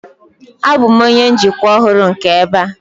Abụ m onye njikwa ọhụrụ nke ebe a.